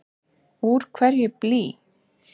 Úr hverju er blý?